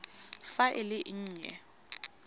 fa e le e nnye